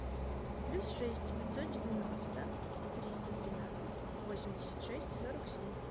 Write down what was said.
плюс шесть пятьсот девяносто триста тринадцать восемьдесят шесть сорок семь